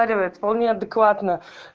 поливал неадекватно